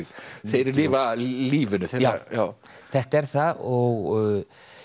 þeir lifa lífinu já þetta er það og